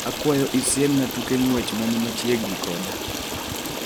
Akwayo isiemna tuke ng'wech mani machiegni koda